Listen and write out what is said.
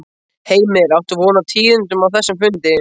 Heimir: Áttu von á tíðindum af þessum fundi?